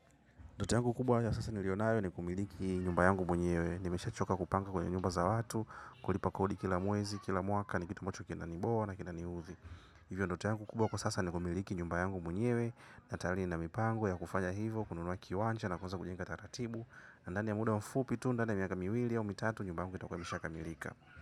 Ndote yangu kubwa ya sasa nilionayo ni kumiliki nyumba yangu mwenyewe. Nimesha choka kupanga kwenye nyumba za watu, kulipa kodi kila mwezi, kila mwaka, ni kitu ambacho kinani bore na kinaniuthi. Hivyo ndoto yangu kubwa kwa sasa ni kumiliki nyumba yangu mwenyewe, natayari nina mipango ya kufanya hivo, kununua kiwanja na kuanza kujenga taratibu. Ndani ya muda mfupi tu ndani ya miaka miwili au mitatu nyumba yangu itakuwa imesha kamilika.